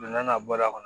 Don n'a na bɔra a kɔnɔ